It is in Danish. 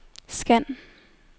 scan